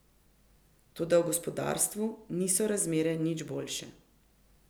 Toda v gospodarstvu niso razmere nič boljše.